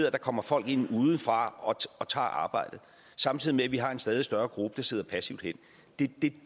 at der kommer folk ind udefra og tager arbejdet samtidig med at vi har en stadig større gruppe der sidder passivt hen det